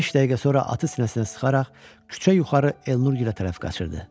Beş dəqiqə sonra atı sinəsinə sıxaraq küçə yuxarı Elnur gilə tərəf qaçırdı.